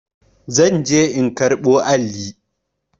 Ni zan je in karɓo alli.